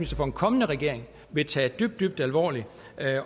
for en kommende regering vil tage dybt dybt alvorligt